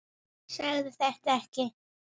Segðu þetta ekki.